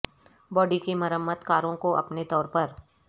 body کی مرمت کاروں کو اپنے طور پر